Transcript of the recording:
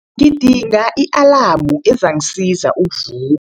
Ngidinga i-alamu ezangisiza ukuvu